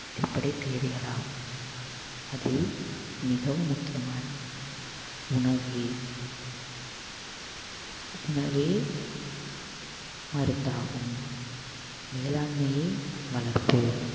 அடிப்படை தேவைகள் ஆகும் அதில் மிகவும் முக்கியமானது உணவே உணவே மருந்தாகும் வேளாண்மையே வளர்ப்போம்